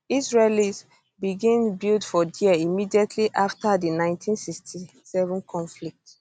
israelis begin build for dia immediately after di 1967 conflict